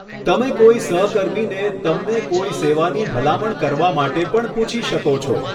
તમે કોઈ સહકર્મીને તમને કોઇ સેવાની ભલામણ કરવા માટે પણ પૂછી શકો છો.